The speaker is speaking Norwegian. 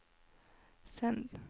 send